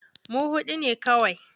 Mu huɗu ne kawai.